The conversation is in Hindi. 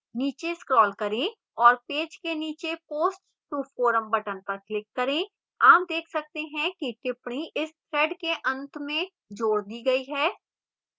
नीचे scroll करें और पेज के नीचे post to forum button पर click करें आप देख सकते हैं कि टिप्पणी इस thread के अंत में जोड़ दी गई है